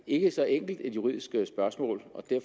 ikke et så enkelt juridisk spørgsmål